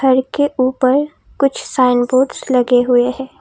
घर के ऊपर कुछ साइन बोर्ड्स लगे हुए हैं।